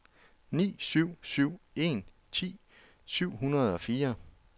ni syv syv en ti syv hundrede og fire